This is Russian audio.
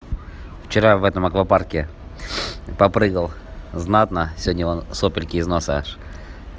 вчера в этом аквапарке попрыгал знатно сегодня вон сопельки из носа аж